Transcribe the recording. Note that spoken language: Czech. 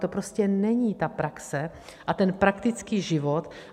To prostě není ta praxe a ten praktický život.